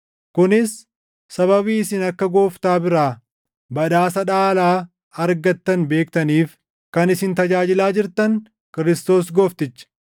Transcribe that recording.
kunis sababii isin akka Gooftaa biraa badhaasa dhaalaa argattan beektaniif. Kan isin tajaajilaa jirtan Kiristoos Goofticha.